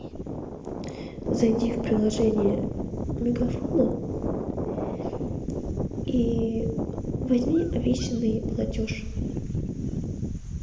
зайди в приложение мегафона и возьми обещанный платеж